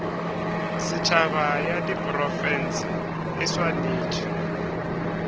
setšhaba ya diprofense e swanetše